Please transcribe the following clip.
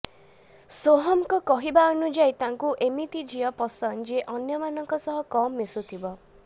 ସୋହମ୍ଙ୍କ କହିବା ଅନୁଯାୟୀ ତାଙ୍କୁ ଏମିତି ଝିଅ ପସନ୍ଦ ଯିଏ ଅନ୍ୟ ମାନଙ୍କ ସହ କମ୍ ମିଶୁଥିବ